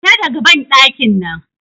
Fita daga banɗakin nan!